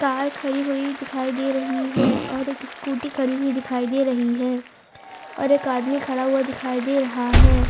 Car खड़ी हुई दिखाई दे रही है और एक स्कूटी खड़ी हुई दिखाई दे रही है और एक आदमी खड़ा हुआ दिखाई दे रहा है।